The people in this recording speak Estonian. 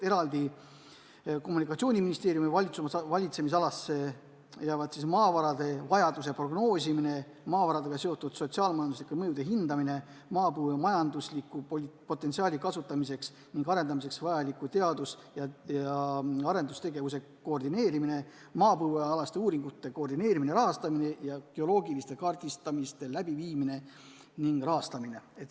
Ja kommunikatsiooniministeeriumi valitsemisalasse jäävad siis maavarade vajaduse prognoosimine, maavaradega seotud sotsiaal-majanduslike mõjude hindamine, maapõue majandusliku potentsiaali kasutamiseks ning arendamiseks vajaliku teadus- ja arendustegevuse koordineerimine, maapõuealaste uuringute koordineerimine-rahastamine ja geoloogilise kaardistamise läbiviimine ning rahastamine.